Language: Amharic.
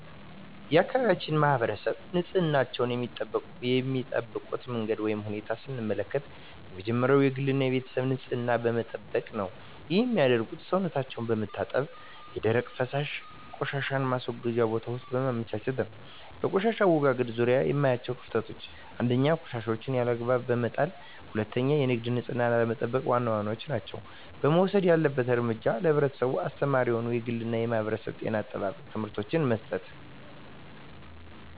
የአካባቢያችን ማህበረሰብ ንፅህናቸዉን የሚጠብቁበት መንገድ ወይም ሁኔታን ስንመለከት የመጀመሪያዉ የግል እና የቤተሰባቸዉን ንፅህና በመጠበቅ ነዉ ይህንንም የሚያደርጉት ሰዉነታቸዉን በመታጠብ የደረቅና የፈሳሽ ቆሻሻ ማስወገጃ ቦታወችን በማመቻቸት ነዉ። በቆሻሻ አወጋገድ ዙሪያ የማያቸዉ ክፍተቶች፦ 1. ቆሻሻወችን ያለ አግባብ በመጣልና 2. የግል ንፅህናን አለመጠቅ ዋና ዋናወቹ ናቸዉ። መወሰድ ያለበት እርምጃ ለህብረተሰቡ አስተማሪ የሆኑ የግልና የማህበረሰብ የጤና አጠባበቅ ትምህርቶችን መስጠት።